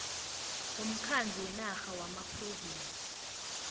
womkhandlu wenarha wamaphrovinsi